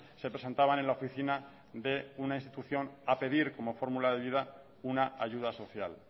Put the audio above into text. se presentaban en la oficina de una institución a pedir como fórmula de vida una ayuda social